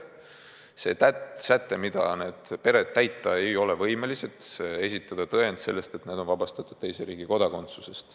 Need pered ei ole võimelised seda sätet täitma, nad ei saa esitada tõendit, et need lapsed on vabastatud teise riigi kodakondsusest.